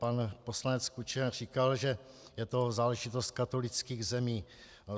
Pan poslanec Kučera říkal, že je to záležitost katolických zemí.